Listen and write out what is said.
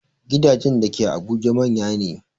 Gidajen da ke Abuja manya ne